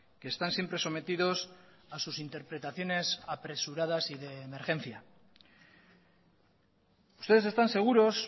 que están siempre sometidos a sus interpretaciones apresuradas y de emergencia ustedes están seguros